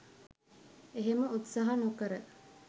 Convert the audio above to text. එහෙම උත්සාහ නොකර